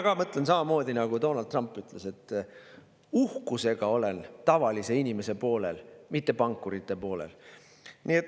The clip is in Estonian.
Mina mõtlen samamoodi, nagu ütles Donald Trump, et ma olen uhkusega tavaliste inimeste poolel, mitte pankurite poolel.